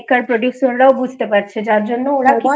makers producers রাও বুঝতে পারছে যার জন্য ওরা